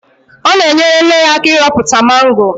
Ọ na-enyere nne ya aka ịrọpụta mango.